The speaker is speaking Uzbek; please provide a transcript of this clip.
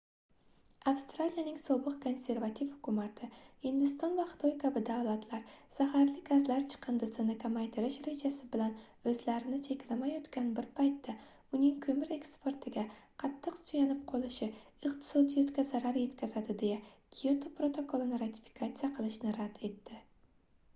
avstraliyaning sobiq konservativ hukumati hindiston va xitoy kabi davlatlar zaharli gazlar chiqindisini kamaytirish rejasi bilan oʻzlarini cheklamayotgan bir paytda uning koʻmir eksportiga qattiq suyanib qolishi iqtisoiyotga zarar yetkazadi deya kyoto protokolini ratifikatsiya qilishni rad etdi